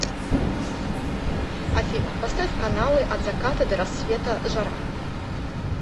афина поставь каналы от заката до рассвета жара